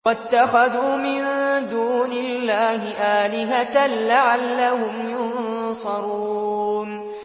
وَاتَّخَذُوا مِن دُونِ اللَّهِ آلِهَةً لَّعَلَّهُمْ يُنصَرُونَ